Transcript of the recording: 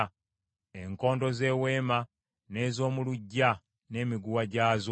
enkondo z’eweema n’ez’omu luggya n’emiguwa gyazo;